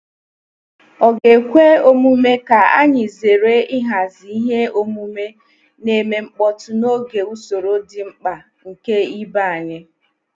Ọ̀ ga-ekwe omume ka anyị zere ịhazi ihe omume na-eme mkpọtụ n'oge usoro dị mkpa nke ibe anyị?